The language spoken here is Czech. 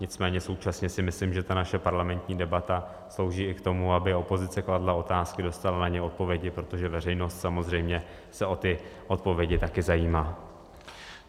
Nicméně současně si myslím, že ta naše parlamentní debata slouží i k tomu, aby opozice kladla otázky, dostala na ně odpovědi, protože veřejnost samozřejmě se o ty odpovědi také zajímá.